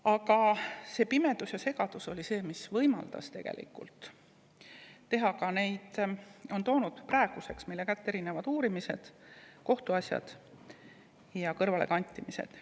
Aga see pimedus ja segadus oli see, mis võimaldas tegelikult teha ka neid asju, mida praeguseks on esile toonud erinevad uurimised – on olnud kohtuasju näiteks kõrvalekantimiste tõttu.